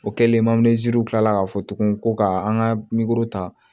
O kɛlen kilala ka fɔ tuguni ko ka an ka ta